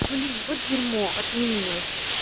блин вот дерьмо отменилось